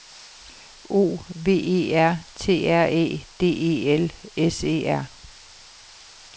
O V E R T R Æ D E L S E R